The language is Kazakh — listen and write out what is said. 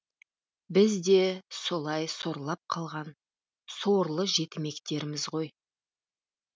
біз де солай сорлап қалған сорлы жетімектерміз ғой